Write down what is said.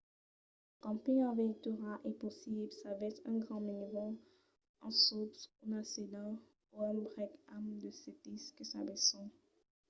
lo camping en veitura es possible s'avètz un grand minivan un suv una sedan o un brèc amb de sètis que s'abaissan